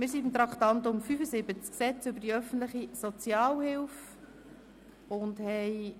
Wir sind beim Traktandum 75, dem Gesetz über die öffentliche Sozialhilfe (Sozialhilfegesetz, SHG) verblieben.